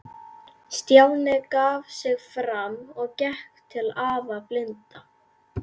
Stjáni gaf sig fram og gekk til afa blinda.